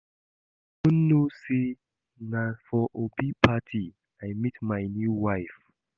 You no know say na for Obi party I meet my new wife